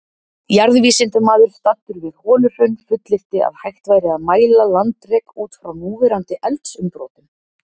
Jarðvísindamaður staddur við Holuhraun fullyrti að hægt væri að mæla landrek út frá núverandi eldsumbrotum?